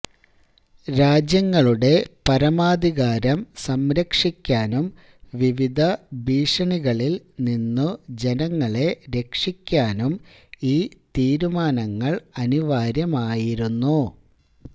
രാജ്യങ്ങളുടെ പരമാധികാരം സംരക്ഷിക്കാനും വിവിധ ഭീഷണികളില് നിന്നു ജനങ്ങളെ രക്ഷിക്കാനും ഈ തിരുമാനങ്ങള് അനിവാര്യമായിരുന്നു